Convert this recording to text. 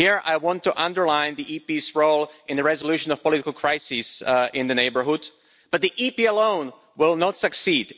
Here, I want to underline the EP's role in the resolution of political crises in the neighbourhood, but the EP alone will not succeed.